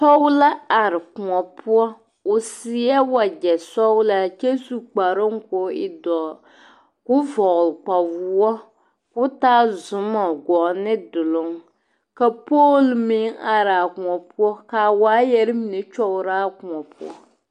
Pɔge la are kõɔ poɔ o seɛ wagyɛ sɔglaa kyɛ su kpare k'o e doɔ k'o vɔgle kpawoɔ k'o taa zumo gɔɔ ne duluŋ ka poole meŋ are a kõɔ poɔ ka a waayɛre mine kyɔgrɔ a kõɔ poɔ.